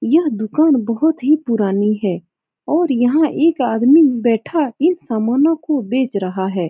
यह दुकान बोहोत ही पुरानी है और यहाँ एक आदमी बैठा इन सामानों को बेच रहा है।